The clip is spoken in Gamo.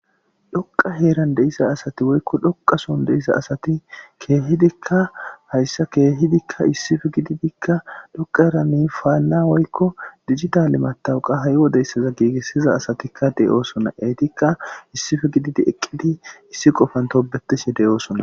Dhoqa heran xe'iza asati eoyko dgoqaso de'iza asati kehidika haysa kehidika issipe gididi dhqaraka payda woyko digitale matoqa ha' wode gigisiza asatika de'oson etika issipe gididi issi qofan tobetishe de'osona